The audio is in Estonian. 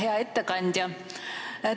Hea ettekandja!